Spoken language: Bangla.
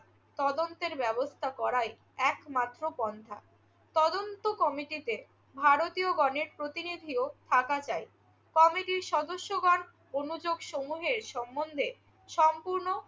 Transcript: তদন্তের ব্যবস্থা করাই একমাত্র পন্থা। তদন্ত কমিটিতে ভারতীয়গণের প্রতিনিধিও থাকা চাই। তবে যে সদস্যগণ অনুযোগসমূহের সম্মন্ধে সম্পূর্ণ